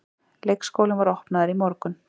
Leikskólinn var opnaður í morgun